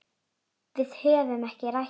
Við höfum ekki rætt þetta.